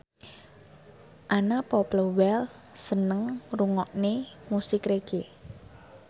Anna Popplewell seneng ngrungokne musik reggae